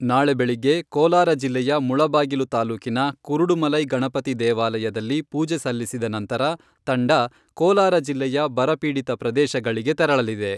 ನಾಳೆ ಬೆಳಿಗ್ಗೆ ಕೋಲಾರ ಜಿಲ್ಲೆಯ ಮುಳಬಾಗಿಲು ತಾಲೂಕಿನ ಕುರುಡುಮಲೈ ಗಣಪತಿ ದೇವಾಲಯದಲ್ಲಿ ಪೂಜೆಸಲ್ಲಿಸಿದ ನಂತರ ತಂಡ ಕೋಲಾರ ಜಿಲ್ಲೆಯ ಬರ ಪೀಡಿತ ಪ್ರದೇಶಗಳಿಗೆ ತೆರಳಲಿದೆ.